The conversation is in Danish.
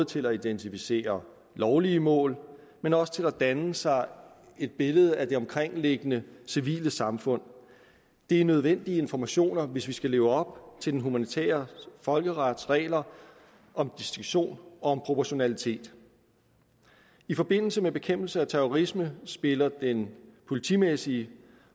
til at identificere lovlige mål men også til at danne sig et billede af det omkringliggende civile samfund det er nødvendige informationer hvis vi skal leve op til den humanitære folkerets regler om distinktion og om proportionalitet i forbindelse med bekæmpelse af terrorisme spiller den politimæssige